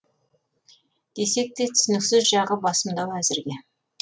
десе де түсініксіз жағы басымдау әзірге